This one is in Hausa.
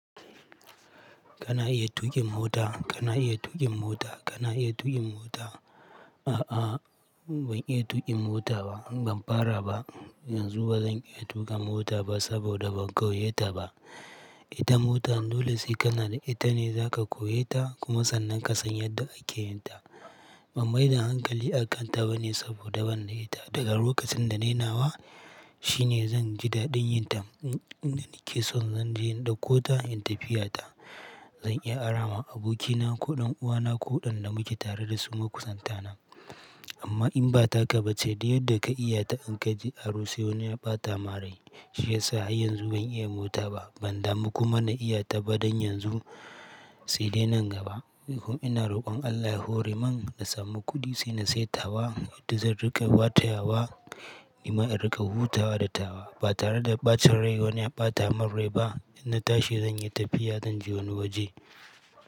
Kana iya tuƙin mota? Kana iya tuƙin mota? Kana iya tuƙin mota? A'a, ban iya tuƙin mota ba. Ban fara ba. Yanzu ba zan iya tuka mota ba saboda ban koye ta ba. Ita mota, dole sai kana da ita ne za ka koye ta kuma sannan ka san yadda ake yin ta. Ban maida hankali akanta ba ne saboda ban da ita. Daga lokacin da nai nawa, shine zan ji daɗin yin ta. Inda nake so zan je in dakko ta in tafiya ta. Zan iya ara ma abokina ko ɗan uwana ko waɗanda muke tare da su makusanta na. Amma in ba takaba ce du yadda ka iya ta in ka je aro se wani ya ɓata ma rai, shi ya sa har yanzu ban iya mota ba. Ban damu kuma na iya ta ba don yanzu sai dai nan gaba. Eh kuma ina rokon Allah ya hore mun na samu kuɗi sai na sai tawa. Wadda zan riƙa watayawa. Ni ma in riƙa hutawa da tawa ba tare da ɓacin rai wani ya ɓata min rai ba. In na tashi zan yi tafiya, zan je wani waje.